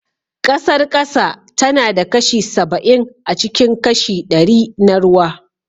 Ƙasar ƙasa tana da kashi saba'in acikin kashi ɗari na ruwa